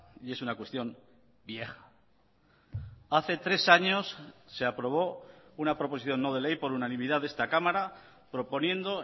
y es una cuestión vieja hace tres años se aprobó una proposición no de ley por unanimidad de esta cámara proponiendo